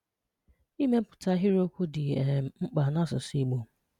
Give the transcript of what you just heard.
Ị́mè̀pụtà àhịrị́okwù dị̀ um mkpà n’àsụ̀sụ̀ Ìgbò